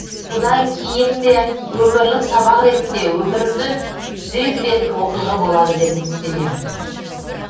бұдан кейін де өмірлік сабақ ретінде өмірімді түзей білетін оқиға болады деп үміттенемін